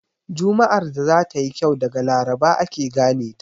Juma'ar da za ta yi kyau daga laraba ake gane ta.